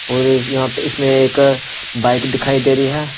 और यहाँ प इसमें एक बाइक दिखाई दे रही है।